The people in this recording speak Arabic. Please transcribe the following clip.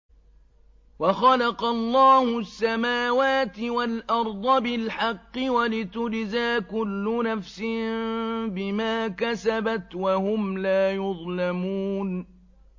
وَخَلَقَ اللَّهُ السَّمَاوَاتِ وَالْأَرْضَ بِالْحَقِّ وَلِتُجْزَىٰ كُلُّ نَفْسٍ بِمَا كَسَبَتْ وَهُمْ لَا يُظْلَمُونَ